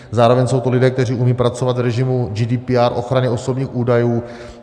Zároveň jsou to lidé, kteří umí pracovat v režimu GDPR ochrany osobních údajů.